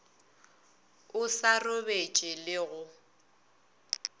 o sa robetše le go